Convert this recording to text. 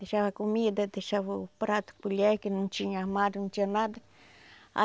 Deixava comida, deixava o prato, colher, que não tinha armário, não tinha nada.